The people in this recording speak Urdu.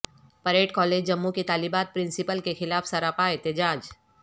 پریڈ کالج جموں کی طالبات پرنسپل کیخلاف سراپا احتجاج